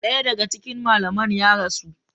Daya daga cikin malaman ya rasu.